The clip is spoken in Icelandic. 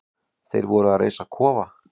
Þeir voru að reisa kofa.